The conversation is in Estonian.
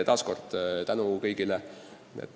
Taas tänu kõigile!